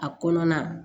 A kɔnɔna